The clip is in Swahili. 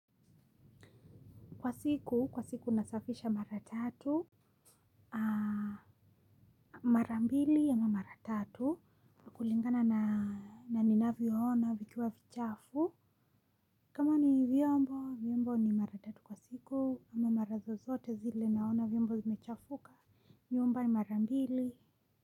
Kwa siku, kwa siku nasafisha mara tatu, mara mbili ama mara tatu kulingana na ninavyoona vikiwa vichafu. Kama ni vyombo, vyombo ni mara tatu kwa siku ama mara zozote zile naona vyombo zimechafuka, nyumba ni mara mbili.